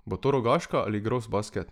Bo to Rogaška ali Grosbasket?